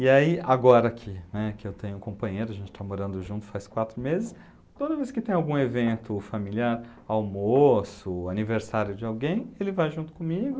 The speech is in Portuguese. E aí, agora que, né, que eu tenho um companheiro, a gente está morando junto faz quatro meses, toda vez que tem algum evento familiar, almoço, aniversário de alguém, ele vai junto comigo,